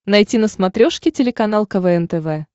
найти на смотрешке телеканал квн тв